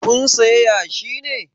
Kun saya yashi ne?